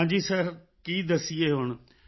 ਹਾਂ ਜੀ ਸਿਰ ਕੀ ਦੱਸੀਏ ਹੁਣ